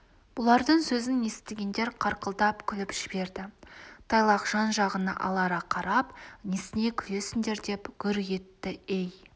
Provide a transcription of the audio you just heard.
бұлардың сөзін естігендер қарқылдап күліп жіберді тайлақ жан-жағына алара қарап несіне күлесіңдер деп гүр етті ей